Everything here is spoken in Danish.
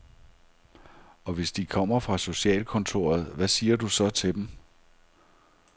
Og hvis de kommer fra socialkontoret, hvad siger du så til dem?